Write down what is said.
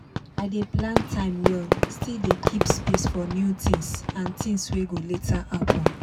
i dey plan time well still dey keep space for new things and things wey go later happen.